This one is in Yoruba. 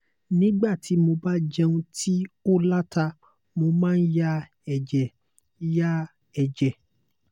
nígbà tí mo bá jẹun tí ó la ta mo máa ń ya ẹ̀jẹ̀ ń ya ẹ̀jẹ̀